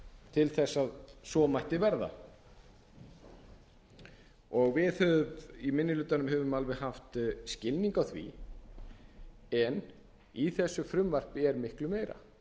til þess að svo mætti verða við í minni hlutanum höfum alveg haft skilning á því en í þessu frumvarpi er miklu meira